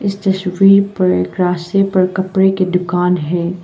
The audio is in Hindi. इस तस्वीर पर रास्ते पर कपड़े की दुकान है।